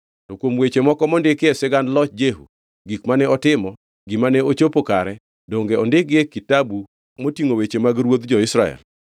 To kuom weche moko mondiki e sigand loch Jehu, gik mane otimo, gima ne ochopo kare, donge ondikgi e kitabu motingʼo weche mag ruodhi jo-Israel?